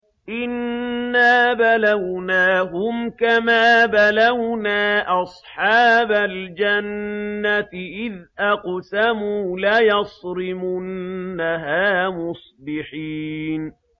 إِنَّا بَلَوْنَاهُمْ كَمَا بَلَوْنَا أَصْحَابَ الْجَنَّةِ إِذْ أَقْسَمُوا لَيَصْرِمُنَّهَا مُصْبِحِينَ